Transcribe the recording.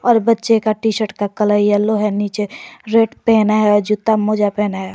और बच्चे का टी शर्ट का कलर येलो है नीचे रेड पेन है जूता मोजा पहना है।